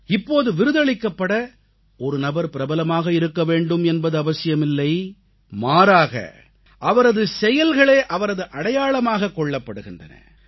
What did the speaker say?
இப்போது விருதளிக்கப்பட ஒரு நபர் பிரபலமாக இருக்க வேண்டும் என்பது அவசியமில்லை மாறாக அவரது செயல்களே அவரது அடையாளமாகக் கொள்ளப்படுகின்றன